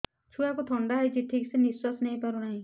ଛୁଆକୁ ଥଣ୍ଡା ହେଇଛି ଠିକ ସେ ନିଶ୍ୱାସ ନେଇ ପାରୁ ନାହିଁ